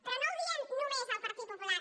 però no ho diem només el partit popular